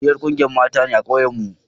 Ni yar ƙungiyar mata ne a ƙauyen mu